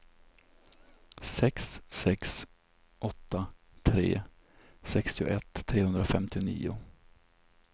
sex sex åtta tre sextioett trehundrafemtionio